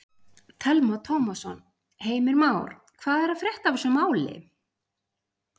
Telma Tómasson: Heimir Már, hvað er að frétta af þessu máli?